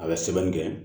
A bɛ sɛbɛnni kɛ